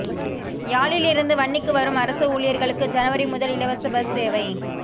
யாழில் இருந்து வன்னிக்கு வரும் அரச ஊழியர்களுக்கு ஜனவரி முதல் இலவச பஸ் சேவை